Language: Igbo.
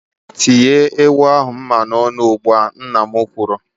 "Tinye ewu ahụ mma n'olu ugbu a!" Nna m kwuru.